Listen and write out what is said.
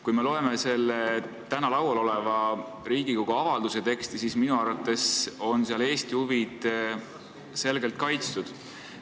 Kui me loeme selle täna laual oleva Riigikogu avalduse teksti, siis minu arvates on seal Eesti huvid selgelt kaitstud.